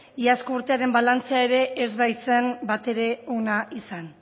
iazko urtearen balantzea ere ez baitzen bat ere ona izan